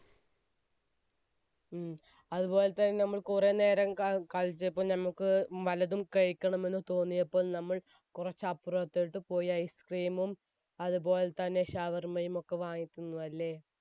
ഉം. അതുപോലെ തന്നെ നമ്മൾ കുറച്ചുനേരം കളിച്ചപ്പോൾ വല്ലതും കഴിക്കണമെന്ന് തോന്നിയപ്പോൾ നമ്മൾ കുറച്ച് അപ്പുറത്തോട്ട് പോയി ice cream മും അതുപോലെ തന്നെ ഷവർമയുമൊക്കെ വാങ്ങി തിന്നു അല്ലെ?